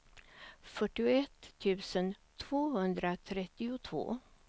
fyrtioett tusen tvåhundratrettiotvå